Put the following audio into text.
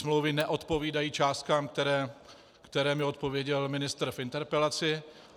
Smlouvy neodpovídají částkám, které mi odpověděl ministr v interpelaci.